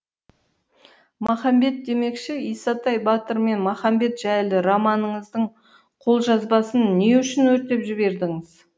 махамбет демекші исатай батыр мен махамбет жайлы романыңыздың қолжазбасын не үшін өртеп жібердіңіз